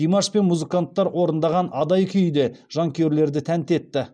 димаш пен музыканттар орындаған адай күйі де жанкүйерлерді тәнті етті